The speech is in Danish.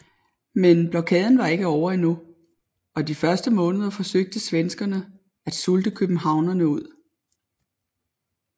Men blokaden var ikke ovre endnu og de næste måneder forsøgte svenskerne at sulte københavnerne ud